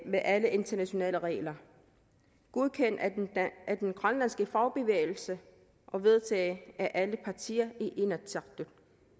med alle internationale regler og godkendt af den grønlandske fagbevægelse og vedtaget af alle partier i inatsisartut